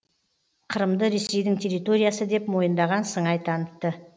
қырымды ресейдің территориясы деп мойындаған сыңай танытты